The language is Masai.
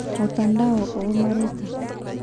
Mutandao oo mareita.